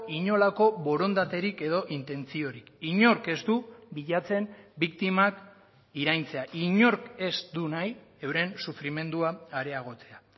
inolako borondaterik edo intentziorik inork ez du bilatzen biktimak iraintzea inork ez du nahi euren sufrimendua areagotzea